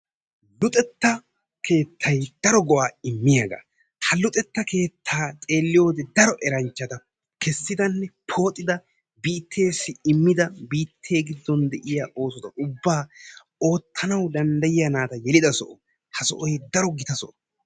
Luxetta keettay daro go'a immiyaaga. ha luxetta keetta xeeliyoode daro eranchcat kessida pooxoda biittesi immida biitten giddon de'iyaa naata ubba yelidda so ha sohoy gita so.